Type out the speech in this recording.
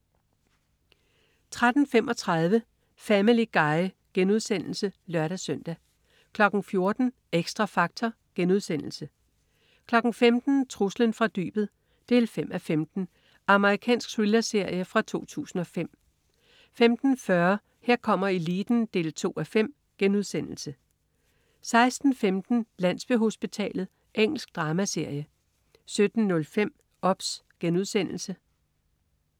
13.35 Family Guy* (lør-søn) 14.00 Xtra Factor* 15.00 Truslen fra dybet 5:15. Amerikansk thrillerserie fra 2005 15.40 Her kommer eliten 2:5* 16.15 Landsbyhospitalet. Engelsk dramaserie 17.05 OBS*